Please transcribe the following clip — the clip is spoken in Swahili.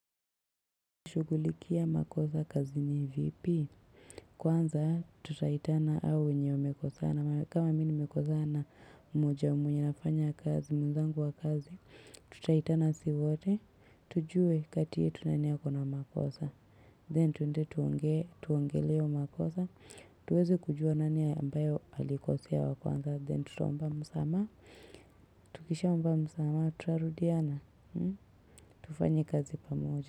Unashugulikia makosa kazi ni vipi. Kwanza tutaitana hao wenye wamekosana. Kama mi ni mekosana moja mwenye anafanya kazi. Mwezangu wa kazi. Tutaitana si wote. Tujue kati yetu nani akona makosa. Then tuende tuongele hio makosa. Tuweze kujua nani ambaye alikosea wa kwanza. Then tutomba msama. Tukisha omba msama. Tutarudiana. Tufanye kazi pamoja.